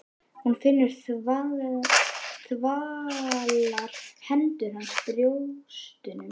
Hún finnur þvalar hendur hans á brjóstunum.